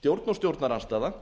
stjórn og stjórnarandstaða